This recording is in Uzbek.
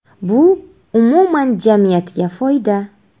Bu, umuman, jamiyatga foyda.